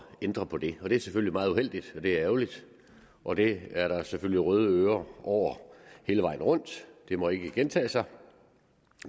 ændre på det det er selvfølgelig meget uheldigt det er ærgerligt og det er der selvfølgelig røde ører over hele vejen rundt det må ikke gentage sig